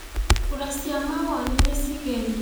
Kũra cĩa mawonĩ nĩĩcegĩrĩe.